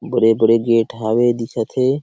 बेरे - बेरे गेट हवे दिख हे।